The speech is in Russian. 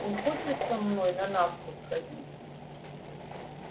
не хочешь со мной на навку сходить